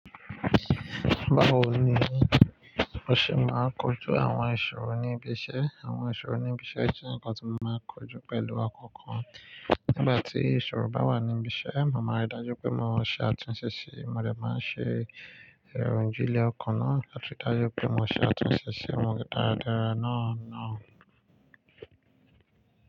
Báwo ni mo ṣe máa kojú àwọn ìṣòro ní ibi iṣẹ́? Àwọn ìṣòro ní ibi iṣẹ́ jẹ́ ǹkan tí mo máa kojú pẹ̀lú ọkọọkan. Nígbà tí ìṣòro bá wà ní ibi iṣẹ́, màá máa rí dájú pé mo ṣe àtúnṣe sí i. Mo lè máa ṣe ìròyìn jíilẹ̀ ọkàn náà lati ri dájú pé mo ṣe àtúnṣe sí ọmọ ìdaradara náà náà.